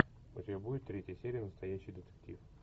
у тебя будет третья серия настоящий детектив